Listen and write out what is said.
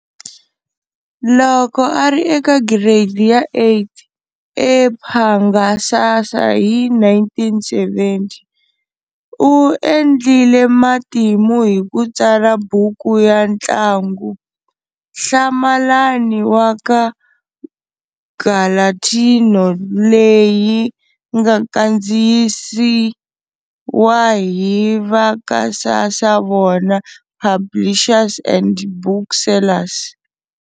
Loko a ri eka giredi ya 8, ePhangasasa hi 1970, u endlile matimu hi ku tsala buku ya ntlangu-Hlamalani wa ka Gulatino, leyi nga kandziyisiwa hi vaka Sasavona Publishers and Booksellers.